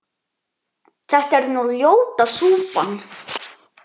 þetta er nú ljóta súpan